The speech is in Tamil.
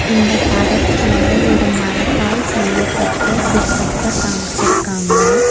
இந்த படத்துல ஒரு மரத்தால் செய்யப்பட்ட சிற்பத்த காம்ச்சிருக்காங்க.